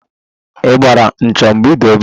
Ị gbara 'ncho' mgbe ị dị obere?